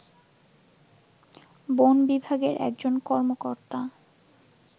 বন বিভাগের একজন কর্মকর্তা